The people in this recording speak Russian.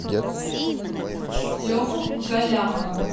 леху галлямова